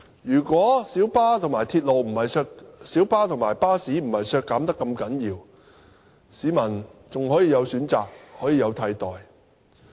如果小巴和巴士不是如此大幅削減，市民還可以有選擇，可以有替代。